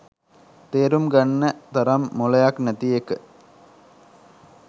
තේරුම් ගන්න තරම් මොලයක් නැති එක.